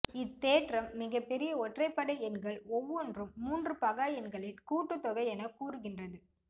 இத்தேற்றம் மிகப்பெரிய ஒற்றைப்படை எண்கள் ஒவ்வொன்றும் மூன்று பகா எண்களின் கூட்டுத்தொகை என கூறுகின்றது